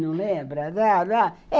Não lembra?